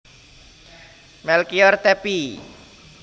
Melkior Tappy